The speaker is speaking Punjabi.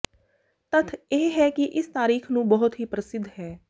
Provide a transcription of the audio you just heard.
ਤੱਥ ਇਹ ਹੈ ਕਿ ਇਸ ਤਾਰੀਖ਼ ਨੂੰ ਬਹੁਤ ਹੀ ਪ੍ਰਸਿੱਧ ਹੈ